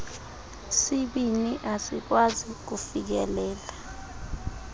sibini asikwazi kufikelela